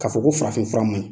Ka fɔ ko farafin fura man ɲi.